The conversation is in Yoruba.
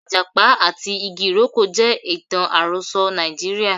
Ijapa ati igi iroko je itan aroso Naijiria.